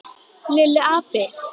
Lilli api!